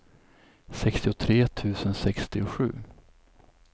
sextiotre tusen sextiosju